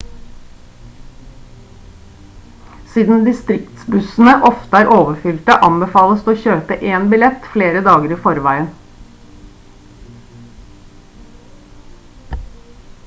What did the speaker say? siden distriktsbussene ofte er overfylte anbefales det å kjøpe en billett flere dager i forveien